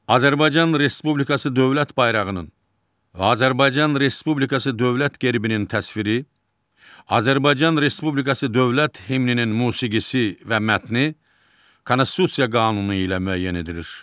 Azərbaycan Respublikası dövlət bayrağının və Azərbaycan Respublikası dövlət gerbinin təsviri, Azərbaycan Respublikası dövlət himninin musiqisi və mətni Konstitusiya qanunu ilə müəyyən edilir.